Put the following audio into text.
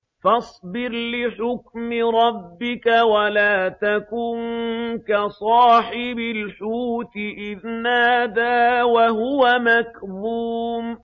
فَاصْبِرْ لِحُكْمِ رَبِّكَ وَلَا تَكُن كَصَاحِبِ الْحُوتِ إِذْ نَادَىٰ وَهُوَ مَكْظُومٌ